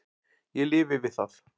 Ég lifi við það.